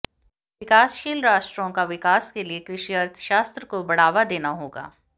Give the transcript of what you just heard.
विकासशील राष्ट्रों का विकास के लिए कृषि अर्थशास्त्र को बढ़ावा देना होगा